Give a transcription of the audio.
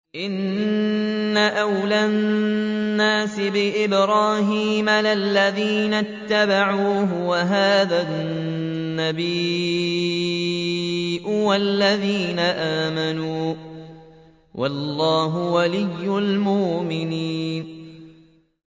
إِنَّ أَوْلَى النَّاسِ بِإِبْرَاهِيمَ لَلَّذِينَ اتَّبَعُوهُ وَهَٰذَا النَّبِيُّ وَالَّذِينَ آمَنُوا ۗ وَاللَّهُ وَلِيُّ الْمُؤْمِنِينَ